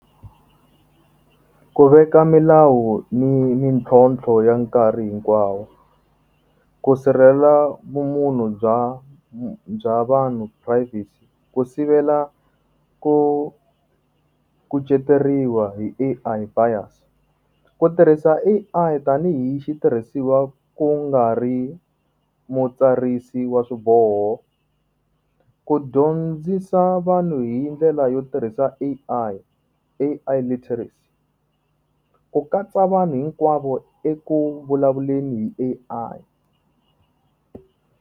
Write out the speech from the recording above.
Ku veka milawu ni mintlhontlho ya nkarhi hinkwawo, ku sirhelela vumunhu bya bya vanhu privacy, ku sivela ku kuceteriwa hi A_I buyers. Ku tirhisa A_I tanihi xitirhisiwa ku nga ri mutsarisi wa swiboho, ku dyondzisa vanhu hi ndlela yo tirhisa A_I, A_I literacy. Ku katsa vanhu hinkwavo eku vulavuleni hi A_I.